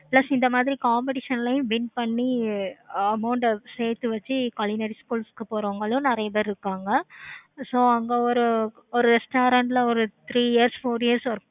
plus இந்த மாதிரி competitions ளையும் win பண்ணி amount ஆஹ் சேர்த்து வச்சி school க்கு போறவங்களும் நெறைய பேரு இருப்பாங்க. so அங்க ஒரு restaurant ல ஒரு three years four years